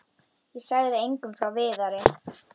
Ég sagði engum frá Viðari.